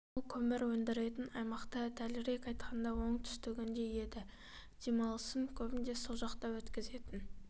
ол көмір өндіретін аймақта дәлірек айтқанда оңтүстігінен еді демалысын көбінде сол жақта өткізетін